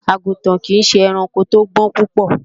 Àgùntàn kìí ṣe ẹranko tó gbọ́n púpọ̀